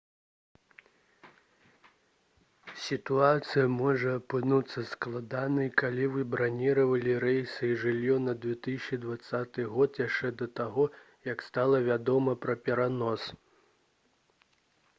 сітуацыя можа апынуцца складанай калі вы браніравалі рэйсы і жыллё на 2020 год яшчэ да таго як стала вядома пра перанос